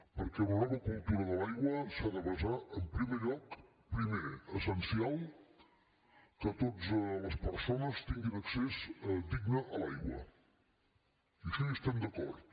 perquè una nova cultura de l’aigua s’ha de basar en primer lloc primer essencial en el fet que totes les persones tinguin accés digne a l’aigua i amb això hi estem d’acord